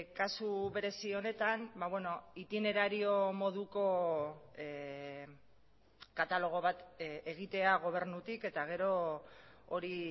kasu berezi honetan itinerario moduko katalogo bat egitea gobernutik eta gero hori